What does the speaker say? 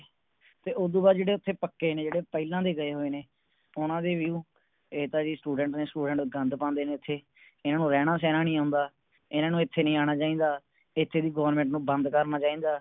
ਤੇ ਉਦੂ ਬਾਦ ਜਿਹੜੇ ਓਥੇ ਪੱਕੇ ਨੇ ਜਿਹੜੇ ਪਹਿਲਾ ਦੇ ਗਏ ਹੋਏ ਨੇ ਓਹਨਾ ਦੇ View ਇਹ ਤਾ ਜੀ Students ਨੇ Students ਗੰਦ ਪਾਉਂਦੇ ਨੇ ਇਥੇ ਇਹਨਾਂ ਨੂੰ ਰਹਿਣਾ ਸਹਿਣਾ ਨਹੀਂ ਆਉਂਦਾ ਇਹਨਾਂ ਨੂੰ ਇਥੇ ਨੀ ਆਣਾ ਚਾਹੀਦਾ ਇਥੇ ਦੀ Government ਨੂੰ ਬੰਦ ਕਰਨਾ ਚਾਹੀਦਾ